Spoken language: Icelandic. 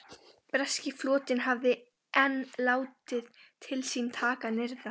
Breski flotinn hafði enn látið til sín taka nyrðra.